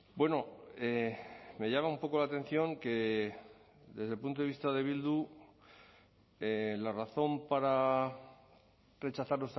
bueno me llama un poco la atención que desde el punto de vista de bildu la razón para rechazar